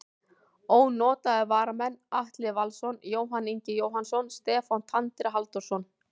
Ónotaðir varamenn: Atli Valsson, Jóhann Ingi Jóhannsson, Stefán Tandri Halldórsson.